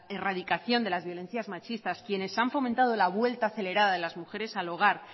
erradicación de violencias machistas quienes han fomentado la vuelta acelerada de las mujeres al hogar